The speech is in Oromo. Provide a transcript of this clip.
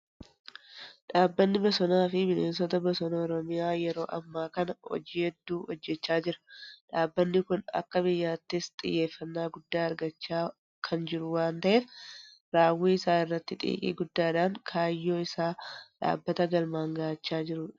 Dhaabbanni bosonaafi bineensa bosona oromiyaa yeroo ammaa kana hojii hedduu hojjechaa jira. Dhaabbanni kun akka biyyaattis xiyyeeffannaa guddaa argachaa kan jiru waan ta'eef raawwii isaa irratti xiiqii guddaadhaan kaayyoo isaa dhaabbata galmaan gahachaa jirudha.